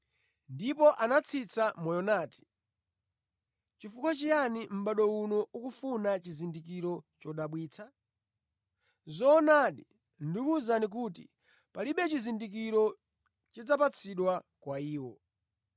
Ndipo anatsitsa moyo nati, “Nʼchifukwa chiyani mʼbado uno ukufuna chizindikiro chodabwitsa? Zoonadi, ndikuwuzani kuti palibe chizindikiro chidzapatsidwa kwa iwo.”